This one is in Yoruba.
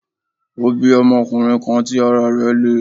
Ó bí ọmọkunrin kan tí ara rẹ̀ le